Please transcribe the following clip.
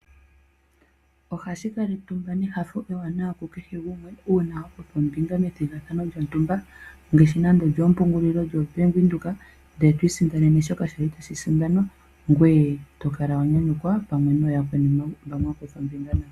Ohashi kala etumba nenyanyu ku kehe gumwe uuna wa kutha ombinga methigathano lyontumba nge shi nande olyoo mpungulilo dho bank Windhoek ndele twiisindanene shoka kwali tashi sindanwa, ngoye tokala wa nyanyukwa pamwe nooyakweni mbo mwakutha ombinga nayo.